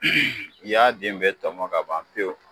Ni ya den bɛɛ tɔmɔ ka ban pewu